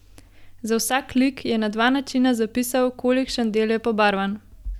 Za vsak lik je na dva načina zapisal, kolikšen del je pobarvan.